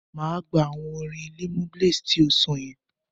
Máa gbà awọn orin Limoblaze ti o sọ yẹn.